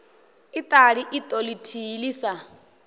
iṱali iṱo ḽithihi ḽi sa